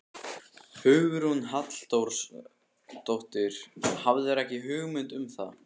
Hugrún Halldórsdóttir: Hafðirðu ekki hugmynd um það?